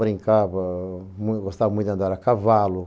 Brincava, muito gostava muito de andar a cavalo.